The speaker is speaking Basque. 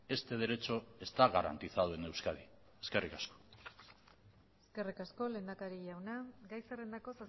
este derecho está garantizado en euskadi eskerrik asko eskerrik asko lehendakari jauna gai zerrendako